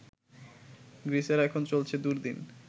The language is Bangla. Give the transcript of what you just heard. গ্রীসের এখন চলছে দুর্দিন